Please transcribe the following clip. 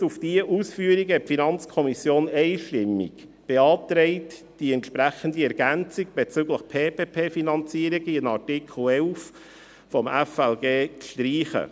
Gestützt auf diese Ausführungen hat die FiKo einstimmig beantragt, die entsprechende Ergänzung bezüglich PPP-Finanzierung in Artikel 11 FLG zu streichen.